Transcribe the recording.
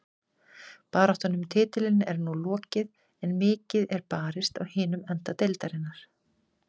Baráttan um titilinn er nú lokið en mikið er barist á hinum enda deildarinnar.